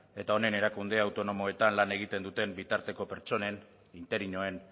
eta honen erakunde autonomoetan lan egiten duten bitarteko pertsonen interinoen